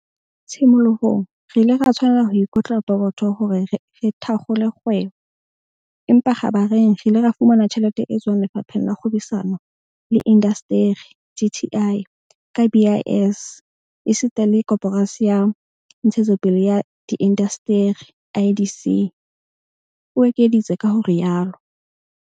"Tshimolohong re ile ra tshwanela ho ikotla pokotho hore re thakgole kgwebo, empa kgabareng re ile ra fumana tjhelete e tswang Lefapheng la Kgwebisano le Indasteri, DTI, ka BIS esita le Koporasi ya Ntshetsopele ya Diindasteri, IDC," o ekeditse ka ho rialo.